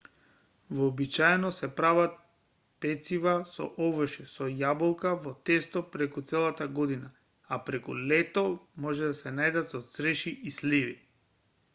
вообичаено се прават пецива со овошје со јаболка во тесто преку целата година а преку лето може да се најдат со цреши и сливи